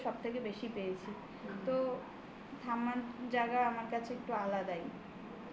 ঠাম্মাকে সব থেকে বেশি পেয়েছি. তো ঠাম্মার জায়গা আমার কাছে একটু আলাদাই.